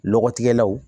Lɔgɔtigɛlaw